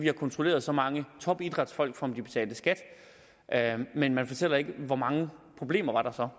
har kontrolleret så mange topidrætsfolk for om de betalte skat men man fortæller ikke hvor mange problemer der så